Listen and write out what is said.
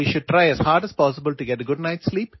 രാത്രി നല്ല ഉറക്കം ലഭിക്കാൻ നാം പരമാവധി ശ്രമിക്കണം